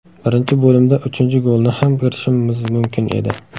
Birinchi bo‘limda uchinchi golni ham kiritishimiz mumkin edi.